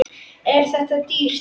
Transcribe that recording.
Er það dýrt?